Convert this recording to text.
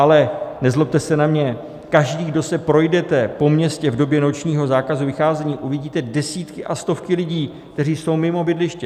Ale nezlobte se na mě, každý, kdo se projdete po městě v době nočního zákazu vycházení, uvidíte desítky a stovky lidí, kteří jsou mimo bydliště.